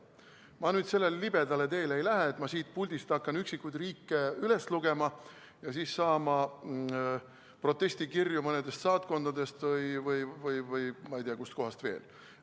Ma nüüd sellele libedale teele ei lähe, et ma siit puldist hakkaksin üksikuid riike üles lugema ja siis hakkaksin saama protestikirju mõnest saatkonnast või ei tea kust kohast veel.